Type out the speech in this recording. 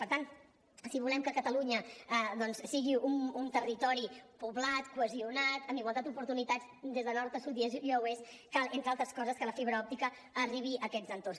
per tant si volem que catalunya doncs sigui un territori poblat cohesionat amb igualtat d’oportunitats des de nord a sud i d’est a oest cal entre altres coses que la fibra òptica arribi a aquests entorns